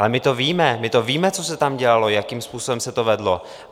Ale my to víme, my to víme, co se tam dělalo, jakým způsobem se to vedlo.